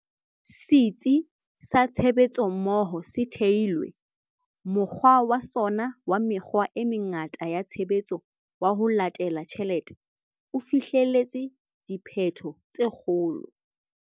Setsi sa Tshebetsommoho se thehilwe, mokgwa wa sona wa mekgwa e mengata ya tshebetso wa 'ho latela tjhelete' o fihleletse diphetho tse kgolo.